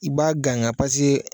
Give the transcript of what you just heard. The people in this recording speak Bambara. I b'a ganga